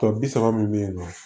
Tɔ bi saba min bɛ yen nɔ